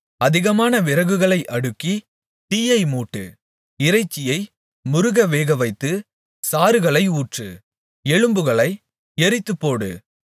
அதிகமான விறகுகளை அடுக்கி தீயை மூட்டு இறைச்சியை முறுக வேகவைத்துச் சாறுகளை ஊற்று எலும்புகளை எரித்துப்போடு